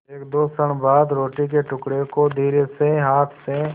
एकदो क्षण बाद रोटी के टुकड़े को धीरेसे हाथ से